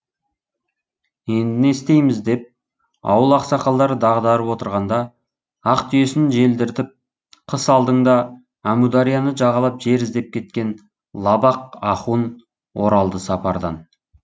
енді не істейміз деп ауыл ақсақалдары дағдарып отырғанда ақ түйесін желдіртіп қыс алдыңда әмударияны жағалап жер іздеп кеткен лабақ ахун оралды сапардан